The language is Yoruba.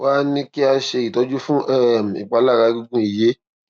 wá a ní kí a ṣe ìtọjú fún um ìpalára egungun ìyé